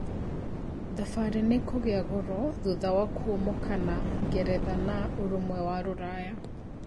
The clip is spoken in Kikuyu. Thabarĩ nĩikũgia goro thutha wa kuumokana ngeretha na Ũrũmwe wa Rũraya